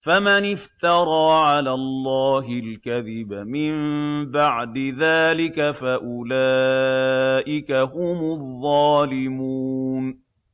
فَمَنِ افْتَرَىٰ عَلَى اللَّهِ الْكَذِبَ مِن بَعْدِ ذَٰلِكَ فَأُولَٰئِكَ هُمُ الظَّالِمُونَ